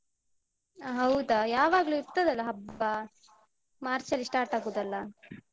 ಅ ಹೌದಾ? ಯಾವಾಗ್ಲು ಇರ್ತದಲ್ಲಾ ಹಬ್ಬ ಮಾರ್ಚ್ ಅಲ್ಲಿ start ಆಗುದಲ್ಲಾ?